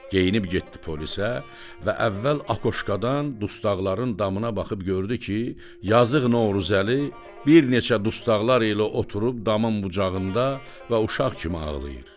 Geyinib getdi polisə və əvvəl akoşkadan dustaqların damına baxıb gördü ki, yazıq Novruzəli bir neçə dustaqlar ilə oturub damın bucağında və uşaq kimi ağlayır.